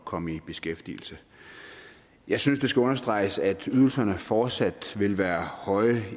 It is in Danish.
komme i beskæftigelse jeg synes det skal understreges at ydelserne fortsat vil være høje